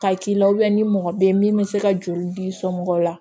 Ka k'i la ni mɔgɔ bɛ min bɛ se ka joli d'i somɔgɔw la